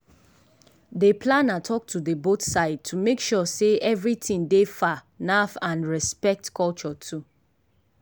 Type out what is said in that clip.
dey planner talk to the both side to make sure sey everything dey far naf and respect culture too.